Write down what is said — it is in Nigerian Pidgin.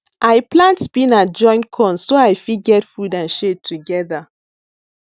i plant spinach join corn so i fit get food and shade together